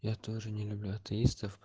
я тоже не люблю атеистов